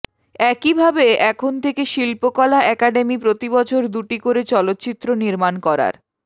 একইভাবে এখন থেকে শিল্পকলা একাডেমি প্রতিবছর দুটি করে চলচ্চিত্র নির্মাণ করার